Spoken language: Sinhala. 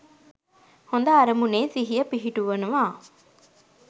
හොඳ අරමුණේ සිහිය පිහිටුවනවා.